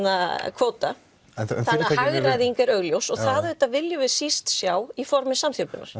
kvóta þannig að hagræðing er augljós og við viljum síst sjá í formi samþjöppunar